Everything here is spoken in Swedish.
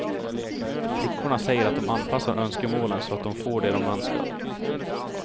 Flickorna säger att de anpassar önskemålen så att de får det de önskar.